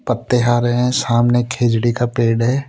पत्ते हरे हैं सामने खिजड़ी का पेड़ हैं।